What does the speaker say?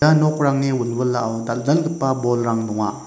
ia nokrangni wilwilao dal·dalgipa bolrang donga.